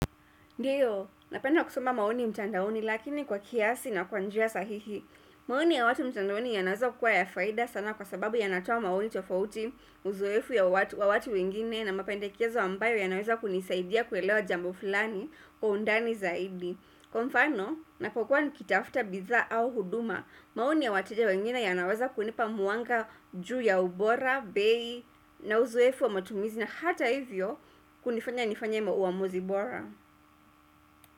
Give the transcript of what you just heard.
Ndio, napenda kusoma maoni mtandaoni, lakini kwa kiasi na kwa njia sahihi. Maoni ya watu mtandaoni, yanaweza kukuwa ya faida sana, kwa sababu yanatoa maoni tofauti, uzoeefu ya watu wengine na mapendekezo, ambayo yanaweza kunisaidia kuelewa jambo fulani kwa undani zaidi. Kwa mfano, ninapokua nikitafuta bidhaa au huduma, maoni ya wateja wengine yanaweza kunipa mwanga juu ya ubora, bei na uzoeefu wa matumizi na hata hivyo kunifanya nifanye uamuzi bora.